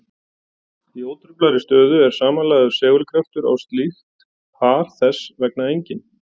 Í ótruflaðri stöðu er samanlagður segulkraftur á slíkt par þess vegna enginn.